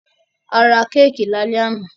A ra kéékì lálẹ́ àná.